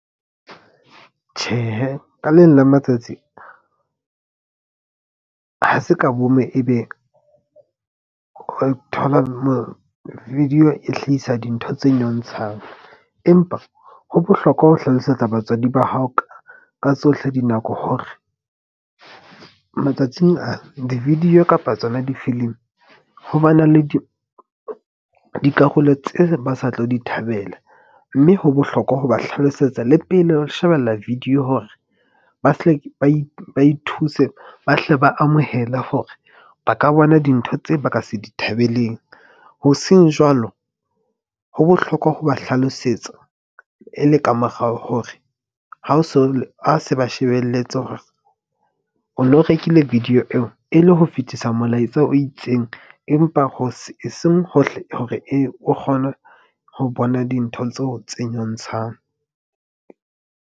Tjhehe ka leng la matsatsi, ha se ka bomme ebe o thola mo video e hlahisa dintho tse nyontshang. Empa ho bohlokwa ho hlalosetsa batswadi ba hao ka tsohle dinako. Hore matsatsing a di-video kapa tsona difilimi, ho ba na le dikarolo tse ba sa tlo di thabela. Mme ho bohlokwa ho ba hlalosetsa le pele ho shebella video hore ba hle ba ithuse, ba hle ba amohele hore ba ka bona dintho tse ba ka se di thabeleng. Ho seng jwalo, ho bohlokwa ho ba hlalosetsa e le ka morao hore ha o so, ha se ba shebelletse hore o no rekile video eo e le ho fetisa molaetsa o itseng, empa ho seng hohle hore e o kgone ho bona dintho tseo tse nyontshang.